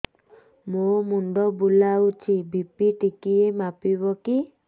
ମୋ ମୁଣ୍ଡ ବୁଲାଉଛି ବି.ପି ଟିକିଏ ମାପିବ କି